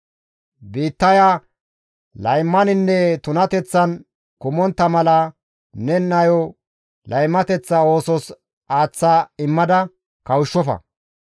« ‹Biittaya laymaninne tunateththan kumontta mala ne nayo laymateththa oosos aaththa immada kawushshofa.